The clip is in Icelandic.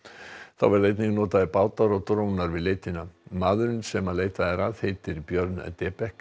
þá verða einnig notaðir bátar og drónar við leitina maðurinn sem leitað er að heitir Björn